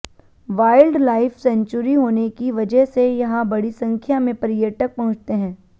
wild life sanctuary होने की वजह से यहां बड़ी संख्या में पर्यटक पहुंचते हैं